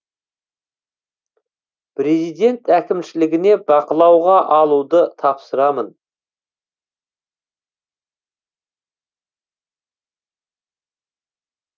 президент әкімшілігіне бақылауға алуды тапсырамын